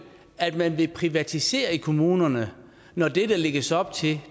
at man vil privatisere i kommunerne når det der lægges op til